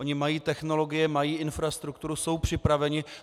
Oni mají technologie, mají infrastrukturu, jsou připraveni.